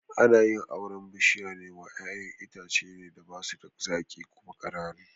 Ana yin auren bishiya wa ƴaƴan itace ne da basu da zaƙi kuma ƙananu